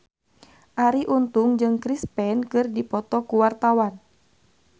Arie Untung jeung Chris Pane keur dipoto ku wartawan